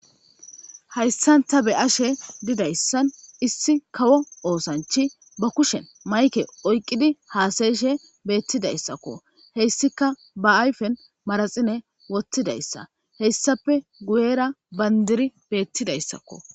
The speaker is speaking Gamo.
hayssanta be ashe didayssan issi kawo oosanchi ba kushen mayke oyqqidi haasayeshe beettidayssakko heyssika ba ayfen maraxine wottidayssa heyssape guyera bandiri beettidayssakko